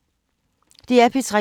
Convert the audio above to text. DR P3